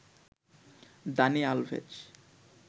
Dani Alves